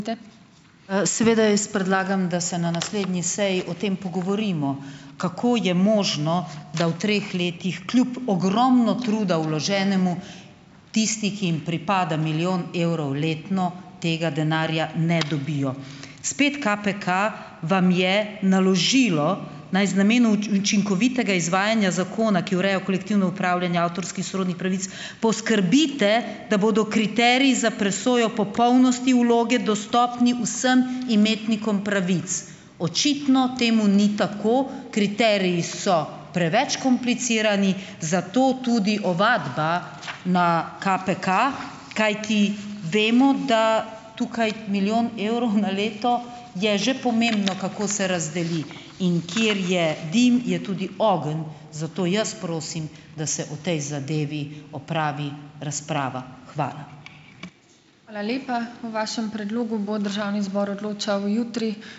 Seveda jaz predlagam, da se na naslednji seji o tem pogovorimo, kako je možno, da v treh letih, kljub ogromno truda vloženemu, tisti, ki jim pripada milijon evrov letno, tega denarja ne dobijo. Spet KPK vam je naložilo, naj z namenom učinkovitega izvajanja zakona, ki ureja v kolektivno upravljanje avtorskih sorodnih pravic, poskrbite, da bodo kriteriji za presojo popolnosti vloge dostopni vsem imetnikom pravic, očitno temu ni tako. Kriteriji so preveč komplicirani, zato tudi ovadba na KPK, kajti vemo, da tukaj milijon evrov na leto je že pomembno, kako se razdeli, in kjer je dim, je tudi ogenj, zato jaz prosim, da se o tej zadevi opravi razprava. Hvala.